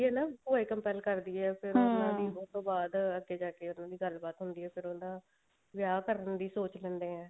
ਮਤਲਬ ਉਹ ਇਹ compel ਕਰਦੀ ਹੈ ਉਹਨਾ ਦੀ ਉਸਤੋਂ ਬਾਅਦ ਅੱਗੇ ਜਾ ਕੇ ਉਹਨਾ ਦੀ ਗੱਲਬਾਤ ਹੁੰਦੀ ਆ ਫ਼ੇਰ ਵਿਆਹ ਕਰਨ ਦੀ ਸੋਚ ਲੈਂਦੇ ਨੇ